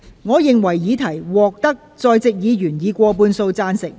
我認為議題獲得在席議員以過半數贊成。